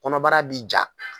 Kɔnɔbara bi ja